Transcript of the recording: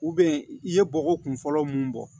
i ye bɔgɔ kun fɔlɔ mun bɔ